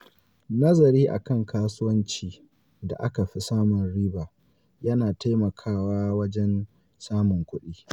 Nazari a kan kasuwancin da aka fi samun riba ya na taimakawa wajen samun kuɗi.